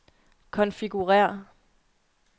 konfigurér